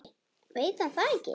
Veit hann það ekki?